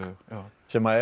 sem er